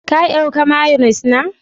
Ka dauka " mayonnaise " na?